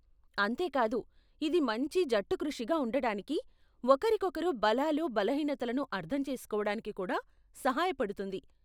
అంతే కాదు, ఇది మంచి జట్టుకృషిగా ఉండటానికి, ఒకరికొకరి బలాలు, బలహీనతలను అర్థం చేసుకోవడానికి కూడా సహాయపడుతుంది.